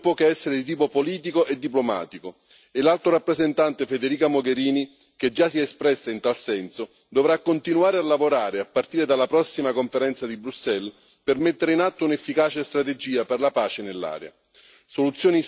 La soluzione non può che essere di tipo politico e diplomatico e l'Alto rappresentante, Federica Mogherini, che già si è espressa in tal senso, dovrà continuare a lavorare, a partire dalla prossima conferenza di Bruxelles, per mettere in atto un'efficace strategia per la pace nell'area.